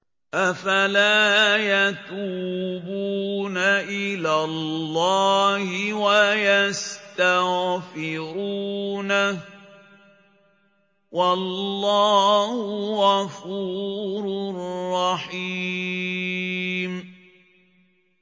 أَفَلَا يَتُوبُونَ إِلَى اللَّهِ وَيَسْتَغْفِرُونَهُ ۚ وَاللَّهُ غَفُورٌ رَّحِيمٌ